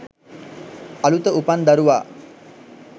"අලුත උපන් දරුවා